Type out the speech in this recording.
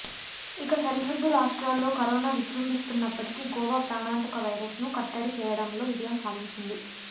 ఇక సరిహద్దు రాష్ట్రాల్లో కరోనా విజృంభిస్తున్నప్పటికీ గోవా ప్రాణాంతక వైరస్ను కట్టడి చేయడంలో విజయం సాధించింది